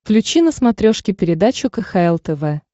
включи на смотрешке передачу кхл тв